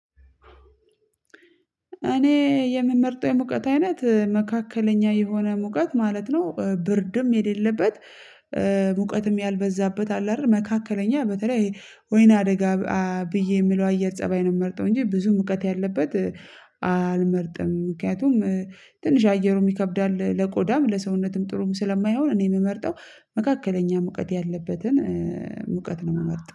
እኔ የምመርጠው የሙቀት አይነት? መካከለኛ የሆነ ሙቀት ማለት ነው፤ ብርድም የሌለበት፣ ሙቀትም ያልበዛበት አለ አይደል መካከለኛ በተለይ ወይናደጋ ብዬ የምለው እየር ፀባይ ነው የምመርጠው፤ እንጂ ብዙ ሙቀት ያለበት አልመርጥም። ምክንያቱም ትንሽ አየሩም ይከብዳል፤ ለቆዳም ለሰውነትም ጥሩም ስለማይሆን እኔ የምመርጠው መካከለኛ ሙቀት ያለበትን ሙቀት ነው የምመርጠው።